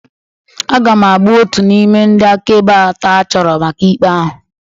Aga m abụ otu n'ime ndị akaebe atọ a chọrọ maka ikpe ahụ.